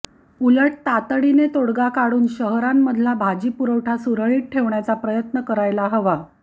उलट तातडीने तोडगा काढून शहरांमधला भाजीपुरवठा सुरळीत ठेवण्याचा प्रयत्न करायला हवा